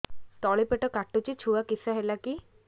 ତଳିପେଟ କାଟୁଚି ଛୁଆ କିଶ ହେଲା କି